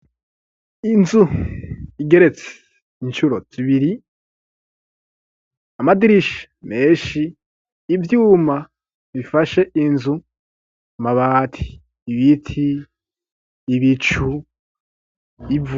Inzu igeretse incuro zibiri amadirisha menshi ivyuma bifashe inzu mabati ibiti ibicu ivu.